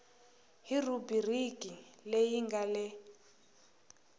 hi rhubiriki leyi nga le